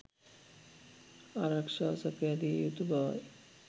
ආරක්ෂාව සපයා දිය යුතු බවයි.